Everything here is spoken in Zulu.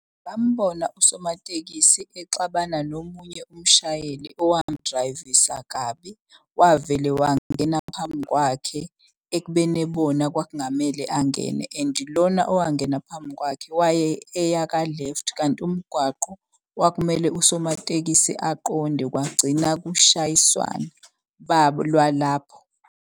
Bambona usomatekisi exabana nomunye umshayeli owamdrayivisa kabi. Wavele wangena ngaphambi kwakhe ekubeni ebona kwakungamele angene. And lona owangena phambi kwakhe eyaka-left kanti umgwaqo kwakumele usomatekisi aqonde kwagcina kushayiswana .